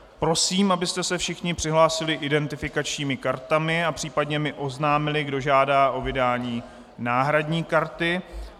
Prosím, abyste se všichni přihlásili identifikačními kartami a případně mi oznámili, kdo žádá o vydání náhradní karty.